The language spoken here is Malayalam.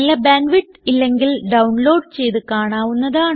നല്ല ബാൻഡ് വിഡ്ത്ത് ഇല്ലെങ്കിൽ ഡൌൺലോഡ് ചെയ്ത് കാണാവുന്നതാണ്